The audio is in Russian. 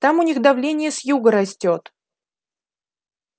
там у них давление с юга растёт